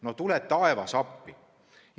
No tule taevas appi!